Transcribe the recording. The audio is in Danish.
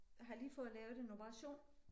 Har lige fået lavet en operation